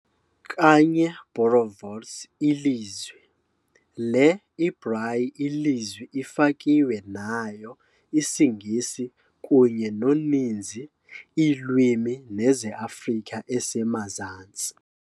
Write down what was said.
Kanye boerewors ilizwi, le ibrayi ilizwi ifakiwe nayo IsiNgesi kunye noninzi iilwimi nezeAfrika esemazantsi.